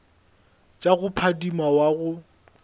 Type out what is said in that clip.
tša go phadima wa go